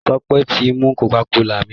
Sope tí mú cocacola mí.